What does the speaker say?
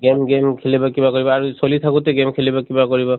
game game খেলিব কিবা কৰিব আৰু চলি থাকোতে game খেলিব কিবা কৰিব